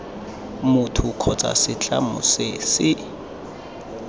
motho kgotsa setlamo se se